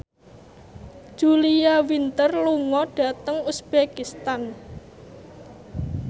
Julia Winter lunga dhateng uzbekistan